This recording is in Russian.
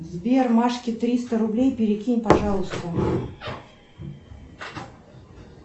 сбер машке триста рублей перекинь пожалуйста